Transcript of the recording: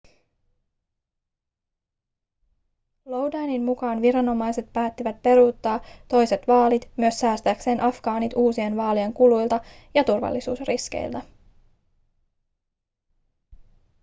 lodinin mukaan viranomaiset päättivät peruuttaa toiset vaalit myös säästääkseen afgaanit uusien vaalien kuluilta ja turvallisuusriskeiltä